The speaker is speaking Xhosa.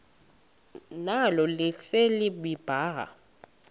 nalo lise libaha